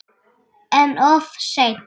En of seinn.